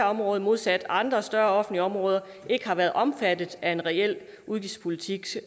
område modsat andre større offentlige områder ikke har været omfattet af en reel udgiftspolitisk